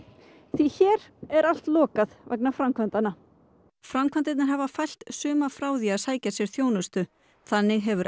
því hér er allt lokað vegna framkvæmdanna framkvæmdirnar hafa fælt suma frá því að sækja sér þjónustu þannig hefur